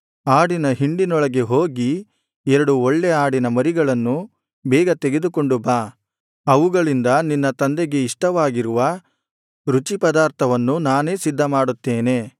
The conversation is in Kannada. ಆಡಿನ ಹಿಂಡಿನೊಳಗೆ ಹೋಗಿ ಎರಡು ಒಳ್ಳೆ ಆಡಿನ ಮರಿಗಳನ್ನು ಬೇಗ ತೆಗೆದುಕೊಂಡು ಬಾ ಅವುಗಳಿಂದ ನಿನ್ನ ತಂದೆಗೆ ಇಷ್ಟವಾಗಿರುವ ರುಚಿಪದಾರ್ಥವನ್ನು ನಾನೇ ಸಿದ್ಧಮಾಡುತ್ತೇನೆ